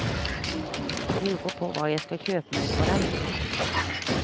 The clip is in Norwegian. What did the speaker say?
Lurer på hva jeg skal kjøpe meg for dem.